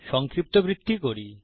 সংক্ষিপ্তবৃত্তি করি